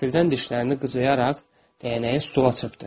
Qəfildən dişlərini qıcayaraq dəyənəyi stula çırpdı.